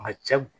Ma cɛ